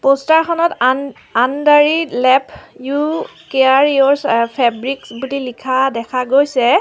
Poster খনত আন অন্দ্ৰাৰী লেব ইউ কেয়াৰ ইয়ৰচ্ ফেবৰিক্স বুলি লিখা দেখা গৈছে।